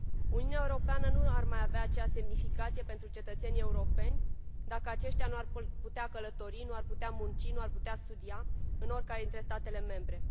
Uniunea Europeană nu ar mai avea aceeași semnificație pentru cetățenii europeni, dacă aceștia nu ar putea călători, nu ar putea munci, nu ar putea studia în oricare dintre statele membre.